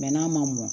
Mɛ n'a ma mɔ